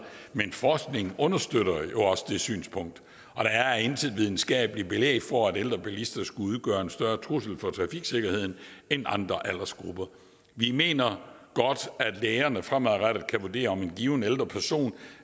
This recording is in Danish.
men forskningen understøtter jo også det synspunkt og der er intet videnskabeligt belæg for at ældre bilister skulle udgøre en større trussel for trafiksikkerheden end andre aldersgrupper vi mener godt at lægerne fremadrettet kan vurdere om en given ældre person